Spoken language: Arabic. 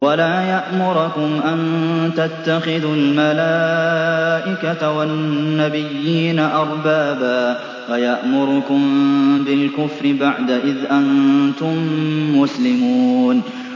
وَلَا يَأْمُرَكُمْ أَن تَتَّخِذُوا الْمَلَائِكَةَ وَالنَّبِيِّينَ أَرْبَابًا ۗ أَيَأْمُرُكُم بِالْكُفْرِ بَعْدَ إِذْ أَنتُم مُّسْلِمُونَ